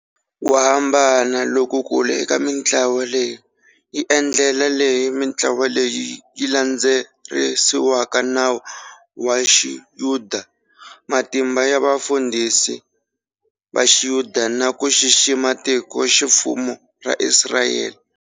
Kuhambana loku kulu eka mintlawa leyi i ndlela leyi mintlawa leyi yi landzelerisaka nawu wa xiyuda, matimba ya vafundhisi vaxiyuda na kuxixima tikoximfumo ra Israyele.